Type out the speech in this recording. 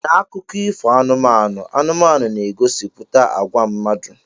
Na akụkọ ifo anụmanụ, anụmanụ na-egosipụta àgwà mmadụ.